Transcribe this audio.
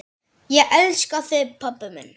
Ég elska þig pabbi minn.